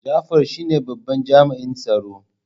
Jafar shine babban jami'in tsaro.